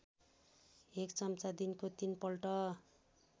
१ चम्चा दिनको ३ पल्ट